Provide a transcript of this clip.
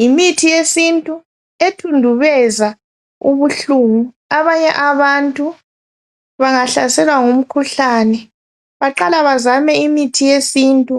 Yimithi yesintu ethundubeza ubuhlungu. Abanye abantu bangahlaselwa ngumkhuhlane, baqala bazame imithi yesintu.